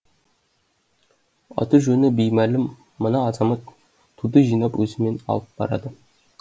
аты жөні беймәлім мына азамат туды жинап өзімен алып барады